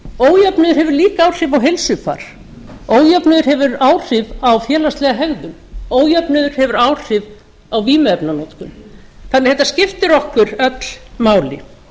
ójöfnuður hefur líka áhrif á heilsufar ójöfnuður hefur áhrif á félagslega hegðun ójöfnuður hefur áhrif á vímuefnanotkun þannig að þetta skiptir okkur öll máli